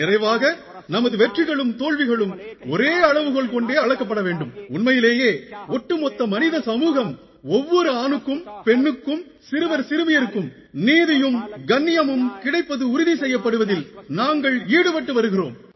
நிறைவாக நமது வெற்றிகளும் தோல்விகளும் ஒரே அளவுகோல் கொண்டே அளக்கப்பட வேண்டும் உண்மையிலேயே ஒவ்வொரு ஆணுக்கும் பெண்ணுக்கும் சிறுவர் சிறுமியருக்கும் ஒட்டுமொத்த மனித சமூகத்துக்கும் நீதியும் கண்ணியமும் கிடைப்பது உறுதி செய்யப்படுவதில் நாங்கள் ஈடுபட்டு வருகிறோம்